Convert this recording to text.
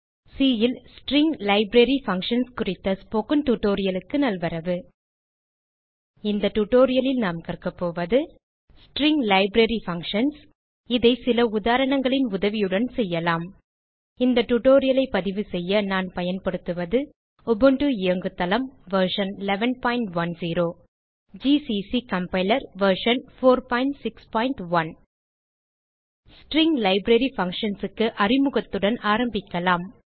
C ல் string library functions குறித்த spoken tutorialக்கு நல்வரவு இந்த டியூட்டோரியல் ல் நாம் கற்கப்போவது ஸ்ட்ரிங் லைப்ரரி பங்ஷன்ஸ் இதை சில உதாரணங்களின் உதவியுடன் செய்யலாம் இந்த tutorialஐ பதிவுசெய்ய நான் பயன்படுத்துவது உபுண்டு இயங்குதளம் version 1110 GCC compiler version 461 string library functionsக்கு அறிமுகத்துடன் ஆரம்பிக்கலாம்